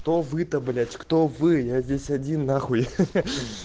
то вы то блять кто вы я здесь один нахуй ха-ха